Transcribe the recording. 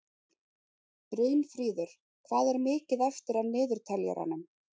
Brynfríður, hvað er mikið eftir af niðurteljaranum?